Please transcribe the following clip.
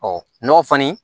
n'o kɔni